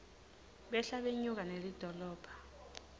behla benyuka nelidolobha